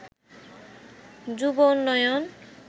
যুব উন্নয়ন